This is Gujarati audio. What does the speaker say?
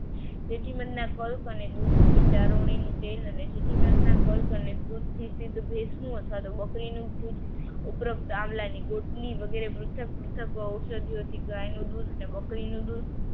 જેથી મધના પલ્પ અને દૂધથી ચારોડીનું તેલ અને ગાયનું દૂધ અને બકરીનું દૂધ